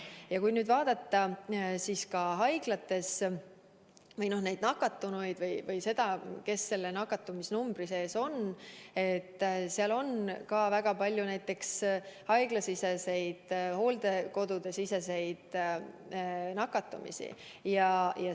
Ja kui nüüd vaadata, siis nakatunute seas on väga palju neid, kes on nakunud haiglas või hooldekodus.